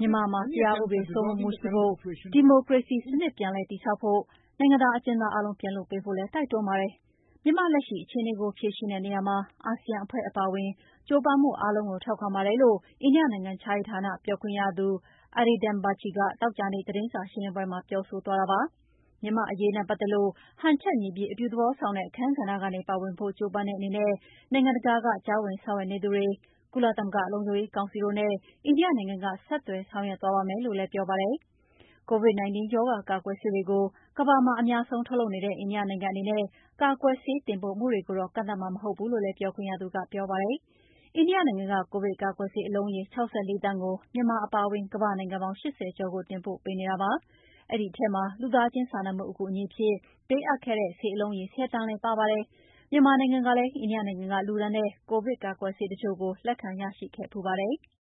မြန်မာနိုင်ငံမှာ တရားဥပဒေစိုးမိုးမှုရှိဖို့ ၊ ဒီမိုကရေစီစနစ်ပြန်လည်တည်ဆောက်ဖို့ ၊ နိုင်ငံသားအကျဉ်းသားအားလုံးပြန်လွှတ်ပေးဖို့လည်း တိုက်တွန်းပါတယ်။ မြန်မာ့လက်ရှိအခြေအနေကို ဖြေရှင်းတဲ့နေရာမှာ အာဆီယံအဖွဲ့အပါအဝင် ကြိုးပမ်းမှု အားလုံးကို ထောက်ခံပါတယ်" လို့ အိန္ဒိယနိုင်ငံခြားရေးဌာန ပြောခွင့်ရ Arindam Bagchi သောကြာနေ့သတင်းစာရှင်းလင်းပွဲမှာ ပြောဆိုသွားတာပါ။ မြန်မာ့အရေးနဲ့ပတ်သက်လို့ ဟန်ချက်ညီပြီး အပြုသဘောဆောင်တဲ့ အခန်းကဏ္ဍကနေ ပါဝင်ဖို့ ကြိုးပမ်းတဲ့အနေနဲ့ နိုင်ငံတကာက ကြားဝင်ဆောင်ရွက်နေသူတွေ၊ ကုလသမဂ္ဂလုံခြုံရေးကောင်စီတို့နဲ့ အိန္ဒိယနိုင်ငံက ဆက်သွယ်ဆောင်ွရွက် သွားပါမယ်လို့လည်း ပြောပါတယ်။ COVID-19 ရောဂါကာကွယ်ဆေးတွေကို ကမ္ဘာမှ ာအများဆုံးထုတ်လုပ်နေတဲ့ အိန္ဒိယနိုင်ငံအနေနဲ့ ကာကွယ်ဆေးတင်ပို့မှုတွေကိုတော့ ကန့်သတ်မှာ မဟုတ်ဘူးလို့လည်း ပြောခွင့်ရသူက ပြောဆိုသွားတာပါ။ အိန္ဒိယနိုင်ငံက ကိုဗစ်ကာကွယ်ဆေးအလုံးရေ ၆၄ သန်းကို မြန်မာအပါအဝင် ကမ္ဘာ့နိုင်ငံပေါင်း ၈၀ ကျော်ကိုတင်ပို့ပေးနေတာလည်းဖြစ်ပါတယ်။ အဲဒီထဲမှာ လူသားချင်းစာနာမှုအကူအညီအဖြစ်ပေးအပ်ခဲ့တဲ့ ဆေးအလုံးရေ ၁၀ သန်းလည်းပါဝင်ပါတယ်။ မြန်မာနိုင်ငံကလည်း အိန္ဒိယနိုင်ငံက လှူဒါန်းတဲ့ ကိုဗစ်ကာကွယ်ဆေးတချို့ကိုလက်ခံရရှိခဲ့ဖူးပါတယ်။